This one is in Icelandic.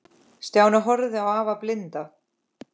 Stjáni horfði á afa blinda.